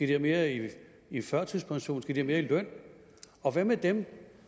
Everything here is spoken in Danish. have mere i i førtidspension skal de have mere i løn og hvad med dem